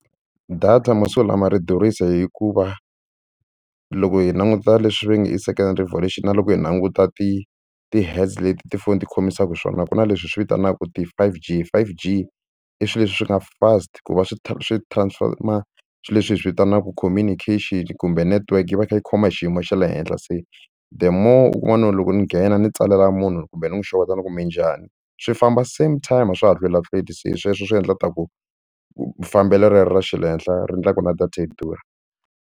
Data masiku lama ri durhisa hikuva loko hi languta leswi va nge i second revolution na loko hi languta ti ti-headz leti tifoni ti khomisaka swona ku na leswi hi swi vitanaka ti-five G five G i swilo leswi swi nga fast ku va swi swi transformer swilo leswi hi swi vitanaka communication kumbe network yi va yi kha yi khoma hi xiyimo xa le henhla se the more u kuma no loko ni nghena ni tsalela munhu kumbe ni n'wi xeweta ni ku minjani swi famba same time a swa ha hlwelahlweli se sweswo swi endla ku ta ku fambela rero ra xa le henhla ri endlaka na data yi durha.